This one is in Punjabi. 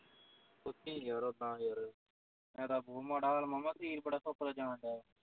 ਪੁੱਛੀ ਯਾਰ ਉੱਦਾ ਯਾਰ ਇੱਦਾਂ ਬਹੁਤ ਮਾੜਾ ਹਾਲ ਮਾਮਾ ਸਰੀਰ ਬੜਾ ਸੁੱਕਦਾ ਜਾਣ ਦਿਆ।